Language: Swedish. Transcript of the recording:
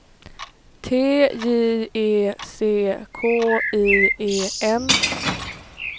T J E C K I E N